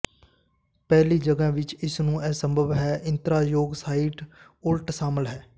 ਪਹਿਲੀ ਜਗ੍ਹਾ ਵਿੱਚ ਇਸ ਨੂੰ ਅਸੰਭਵ ਹੈ ਇਤਰਾਜ਼ਯੋਗ ਸਾਈਟ ਉਲਟ ਸ਼ਾਮਲ ਹਨ